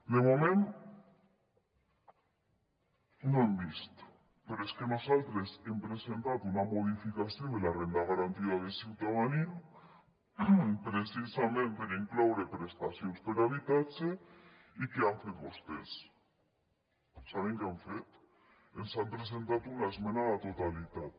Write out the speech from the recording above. de moment no ho hem vist però és que nosaltres hem presentat una modificació de la renda garantida de ciutadania precisament per incloure prestacions per a habitatge i què han fet vostès saben què han fet ens han presentat una esmena a la totalitat